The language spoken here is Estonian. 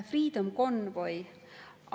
Freedom Convoy.